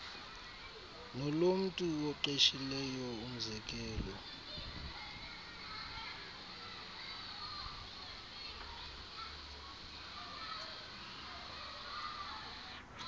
nolomntu oqeshileyo umzekelo